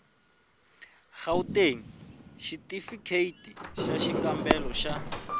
gauteng xitifikheyiti xa xikambelo xa